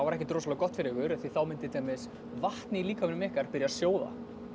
ekkert rosalega gott fyrir ykkur því þá myndi til dæmis vatn í líkamanum ykkar byrja að sjóða